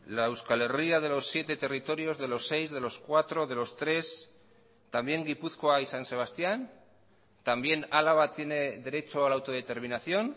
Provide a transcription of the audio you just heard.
la euskal herria de los siete territorios de los seis de los cuatro de los tres también gipuzkoa y san sebastián también álava tiene derecho a la autodeterminación